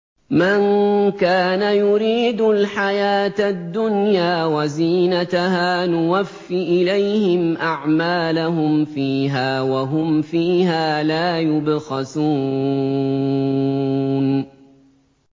مَن كَانَ يُرِيدُ الْحَيَاةَ الدُّنْيَا وَزِينَتَهَا نُوَفِّ إِلَيْهِمْ أَعْمَالَهُمْ فِيهَا وَهُمْ فِيهَا لَا يُبْخَسُونَ